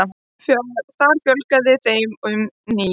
Þar fjölgaði þeim um níu.